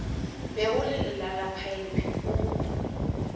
be o le lelalaphaephe o